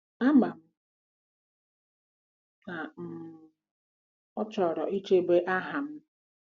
Ama m na um ọ chọrọ ichebe aha m. ”